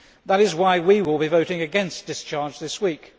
That is why we will be voting against discharge this week.